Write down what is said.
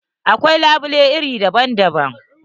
Akwai labule iri daban daban.